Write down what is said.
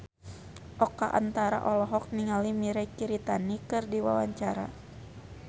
Oka Antara olohok ningali Mirei Kiritani keur diwawancara